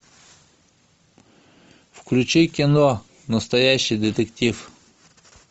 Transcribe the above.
включи кино настоящий детектив